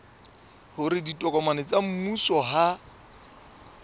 hore ditokomane tsa mmuso ha